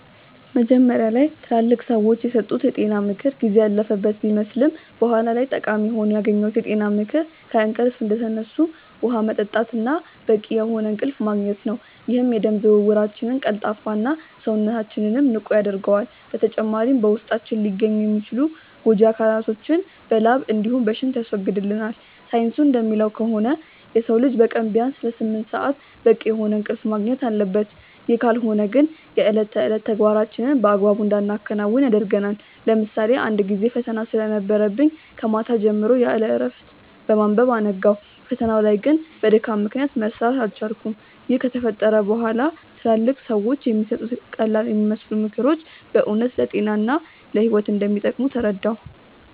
መጀመሪያ ላይ ትላልቅ ሰዎች የሰጡት የጤና ምክር ጊዜ ያለፈበት ቢመስልም በኋላ ላይ ጠቃሚ ሆኖ ያገኘሁት የጤና ምክር ከእንቅልፍ እንደተነሱ ውሃ መጠጣት እና በቂ የሆነ እንቅልፍ ማግኘት ነው፤ ይህም የደም ዝውውራችንን ቀልጣፋ እና፣ ሰውነታችንንም ንቁ ያደርገዋል። በተጨማሪም በውስጣችን ሊገኙ የሚችሉ ጎጂ አካላቶችን በላብ እንዲሁም በሽንት ያስወግድልናል። ሳይንሱ እንደሚለው ከሆነ የሰው ልጅ በቀን ቢያንስ ለስምንት ሰአት በቂ የሆነ እንቅልፍ ማግኘት አለበት፤ ይህ ካልሆነ ግን የእለት ተዕለት ተግባራችንን በአግባቡ እንዳናከናውን ያደርገናል። ለምሳሌ አንድ ጊዜ ፈተና ስለነበረብኝ ከማታ ጀምሮ ያለእረፍት በማንበብ አነጋው። ፈተናው ላይ ግን በድካም ምክንያት መስራት አልቻልኩም። ይህ ከተፈጠረ በኋላ ትላልቅ ሰዎች የሚሰጡት ቀላልየሚመስሉ ምክሮች በእውነት ለጤና እና ለህይወት እንደሚጠቅሙ ተረዳሁ።